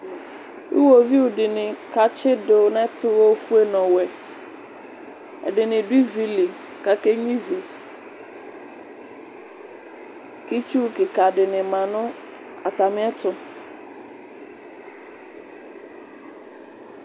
uwoviu di ni k'atsi du n'ɛto ofue n'ɔwɛ ɛdini du ivi li k'ake nyua ivi k'itsu keka di ni ma no atami ɛto.